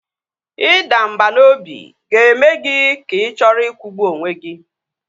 Ịda mbà n'obi ga-eme gị ka ị chọọ ikwụgbu onwe gị